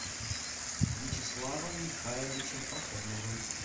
вячеславом михайловичем пахомовым